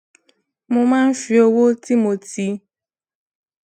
mo máa ń fi owó tí mo ti